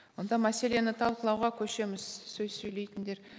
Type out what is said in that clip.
онда мәселені талқылуға көшеміз сөз сөйлейтіндер